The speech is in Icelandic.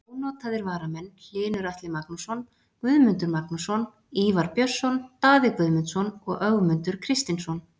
Ónotaðir varamenn: Hlynur Atli Magnússon, Guðmundur Magnússon, Ívar Björnsson, Daði Guðmundsson, Ögmundur Kristinsson.